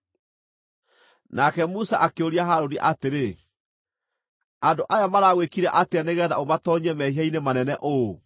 Nake Musa akĩũria Harũni atĩrĩ, “Andũ aya maragwĩkire atĩa nĩgeetha ũmatoonyie mehia-inĩ manene ũũ?”